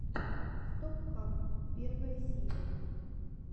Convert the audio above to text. стоп хам первая серия